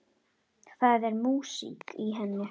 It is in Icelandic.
Það er músík í henni.